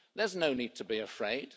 There's no need to be afraid.